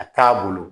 A taa bolo